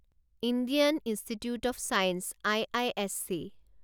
Indian Institute of Science IISc